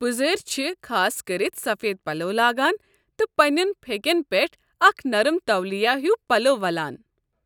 پُزٲرۍ چھِ خاص كٔرِتھ سفید پلو لاگان تہٕ پنٛنٮ۪ن پھیٚکٮ۪ن پٮ۪ٹھ اکھ نرم تولیہ ہیُو پلو ولان۔